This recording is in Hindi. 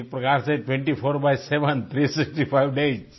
यानी एक प्रकार से 24×7 थ्री सिक्सटी फाइव डेज